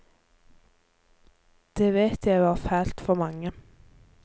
Det vet jeg var fælt for mange.